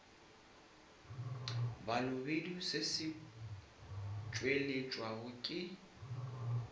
balobedu se se tšweletšwa ke